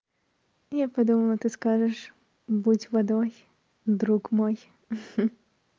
я подумала ты скажешь будь водой друг мой